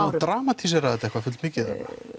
dramatísera þetta fullmikið